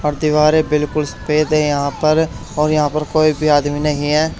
और दीवारें बिल्कुल सफेद है यहां पर और यहां पर कोई भी आदमी नहीं है।